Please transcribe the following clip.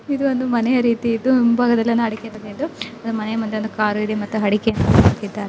ಇದು ಒಂದು ಮನೆಯ ರೀತಿ ಇದ್ದು ಮುಂಭಾಗದಲ್ಲಿ ಒಂದು ಅಡಿಕೆ ತೋಟ ತೆಂಗಿನ ತೋಟಗಳಿದ್ದು ಮನೆಯ ಮುಂದೆ ಒಂದು ಕಾರು ಮತ್ತು ಅಡಿಕೆಯನ್ನು ಹಾಕಿದ್ದಾರೆ.